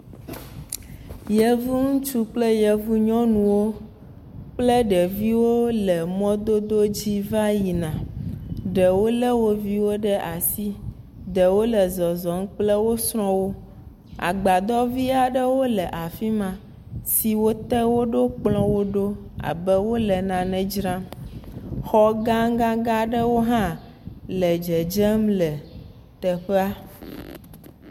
Yevu ŋutsu kple yevu nyɔnu kple ɖeviwo le mɔdodo aɖe dzi va yina. Ɖewo le woviwo ɖe asi. Ɖewo le zɔzɔm kkle wo srɔ wo. Agbadɔ vi aɖewo le afima siwo te woɖo kplɔwo ɖo abe wole nane dzram. Xɔ gãgã aɖe hã le dzedzem le teƒea